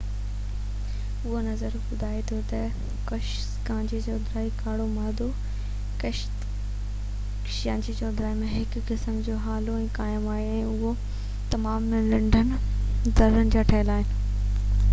اهو نظريو ٻڌائي ٿو تہ ڪهڪشان جي چوڌاري ڪارو مادو ڪهڪشان جي چوڌاري هڪ قسم جي هالو ۾ قائم آهي ۽ اهو تمام ننڍن زرڙن جا ٺهيل آهن